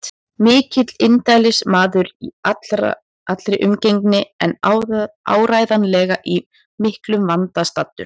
Mikill indælismaður í allri umgengni en áreiðanlega í miklum vanda staddur.